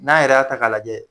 N'a yɛrɛ' a ta k'a lajɛ